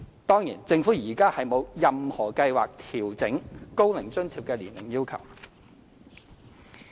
當然，政府現時沒有任何計劃調整高齡津貼的年齡要求。